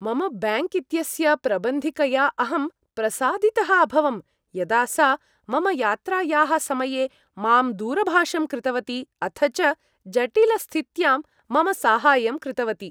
मम बैङ्क् इत्यस्य प्रबन्धिकया अहं प्रसादितः अभवं यदा सा मम यात्रायाः समये मां दूरभाषं कृतवती अथ च जटिलस्थित्यां मम साहाय्यं कृतवती।